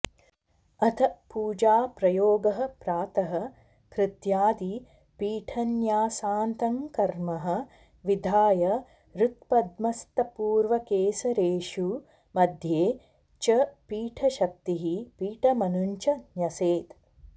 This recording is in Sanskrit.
अथ पूजाप्रयोगः प्रातः कृत्यादि पीठन्यासान्तङ्कर्म विधाय हृत्पद्मस्थपूर्वकेसरेषु मध्ये च पीठशक्तीः पीठमनुञ्च न्यसेत्